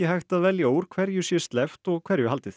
hægt að velja úr hverju sé sleppt og hverju haldið